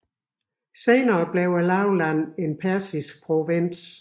Senere blev lavlandet en persisk provins